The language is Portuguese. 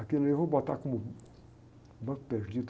Aquele ali eu vou botar como banco perdido.